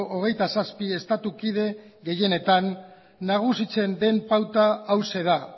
hogeita zazpi estatukide gehienetan nagusitzen den pauta hauxe da